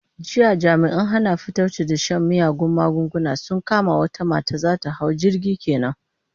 Jiya jami'an hana fatauci da shan miyagun magunguna sun kama wata mata za ta hau jirgi ke nan.